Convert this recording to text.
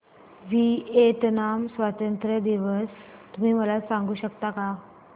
Vietnam स्वतंत्रता दिवस तुम्ही मला सांगू शकता का